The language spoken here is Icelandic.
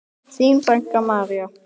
Þín frænka, María.